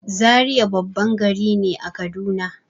Zaria babban gari ne a kaduna